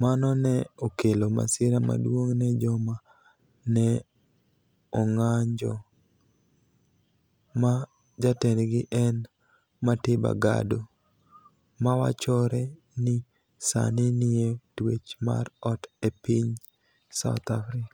mano ni e okelo masira maduonig ' ni e joma ni e onig'anijo, ma jatendgi eni Matiba Gado , ma wachore nii Saanii niie twech mar ot e piniy South Africa.